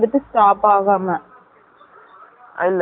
இல்லை, நடுவுல நிப்பாட்டுனாங்க